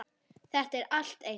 Þetta er allt eins!